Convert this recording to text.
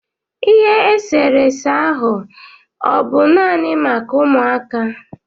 Ihe eserese ahụ a ọ bụ naanị maka ụmụaka?